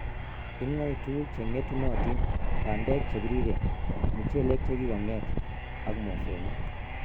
ing'oe tuguuk che ng'etunotiin, bandek che piriren, muchelek che ki kong'et, ak mosongik